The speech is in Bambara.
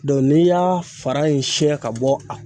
Dɔn n'i y'a fara in siɲɛ ka bɔ a